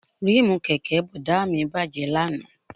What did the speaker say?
Ríìmù kẹ̀kẹ́ Bọ̀dá mi bàjẹ́ lánàá